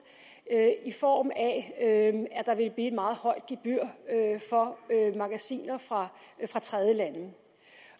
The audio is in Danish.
i form af at der ville et meget højt gebyr for magasiner fra tredjelande det